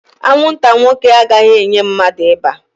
Anwụnta nwoke agaghị enye mmadụ ịba